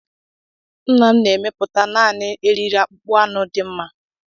Nna m na-emepụta naanị eriri akpụkpọ anụ dị mma